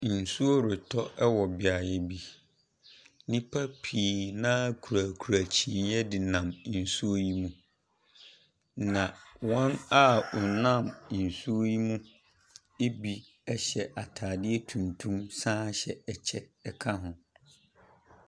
Nsuo retɔ wɔ beaeɛ bi. Nnipa pii no ara kurakura kyiniiɛ de nam nsuo yi mu, na wɔn a wɔnam nsuo yi mu bi hyɛ atadeɛ tuntum san hyɛ kyɛ ka ho.